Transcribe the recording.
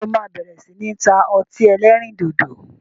Ǹjẹ́ o máa bẹ̀rẹ̀ sini ta ọtí ẹlẹ́rìndòdò?